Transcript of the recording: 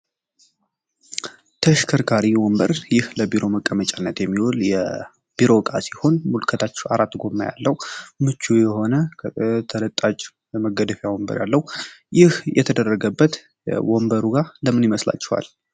ተሽከርካሪ ወንበር ይህ ለቢሮ መቀመጥ የሚሆን የቢሮ ሲሆን ለመገደፊያ ወንበር ያለው ይህ የተደረገበት ወንበሩ ጋር ለምን ይመስላቸዋል